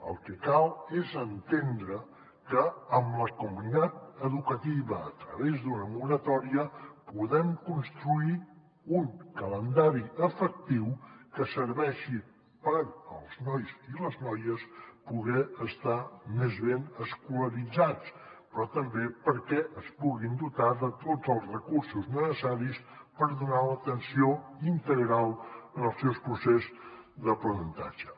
el que cal és entendre que amb la comunitat educativa a través d’una moratòria podem construir un calendari efectiu que serveixi per als nois i les noies poder estar més ben escolaritzats però també perquè es puguin dotar de tots els recursos necessaris per donar l’atenció integral en el seu procés d’aprenentatge